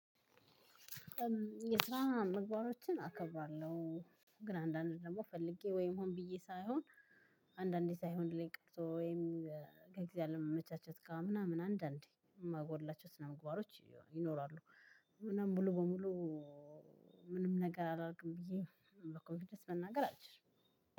የትስራ ምግባሮችን አከብራለሁ። ግን አንዳንድ ደግሞ ፈልጌ ወይም ሆን ብዬ ሳይሆን አንዳንዴ ሳይሆንልኝ ቀርቶ ወይም ከጊዜ አለመምቻቸት ጋር ምናምን አንዳንዴ የማጎድላቸው ስነምግባሮች ይኖራሉ። ምንም ሙሉ በሙሉ ምንም ነገር አላደርግም ብዬ በኮንፊደንስ መናገር አልችልም።